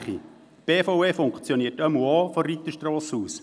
Die BVE funktioniert ja auch von der Reiterstrasse aus.